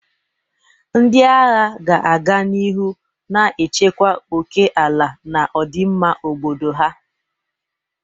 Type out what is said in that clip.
Ndị agha ga-aga n'ihu na-echekwa oke ala na ọdịmma obodo ha.